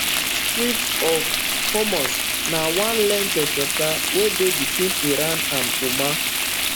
strait of hormuz na one length of water wey dey between iran and oman